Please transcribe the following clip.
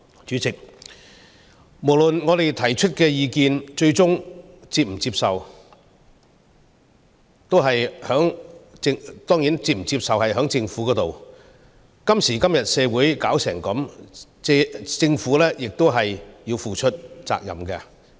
主席，不論我們提出甚麼意見，最終還是由政府決定是否接受；今時今日的社會變成這樣，政府亦要負上責任。